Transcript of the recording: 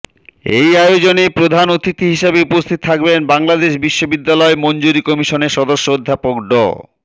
এই আয়োজনে প্রধান অতিথি হিসাবে উপস্থিত থাকবেন বাংলাদেশ বিশ্ববিদ্যালয় মঞ্জুরী কমিশনের সদস্য অধ্যাপক ড